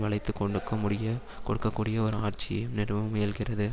வளைத்து கொடுக்கமுடிய கொடுக்க கூடிய ஒரு ஆட்சியையும் நிறுவ முயல்கிறது